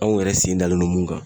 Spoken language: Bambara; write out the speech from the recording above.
Anw yɛrɛ sen dalen don mun kan.